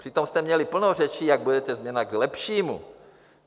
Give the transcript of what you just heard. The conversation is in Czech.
Přitom jste měli plno řečí, jak budete změna k lepšímu.